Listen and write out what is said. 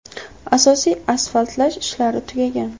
Asosiy asfaltlash ishlari tugagan.